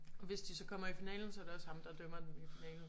Og hvis de så kommer i finalen så er det også ham der dømmer den i finalen